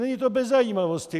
Není to bez zajímavosti.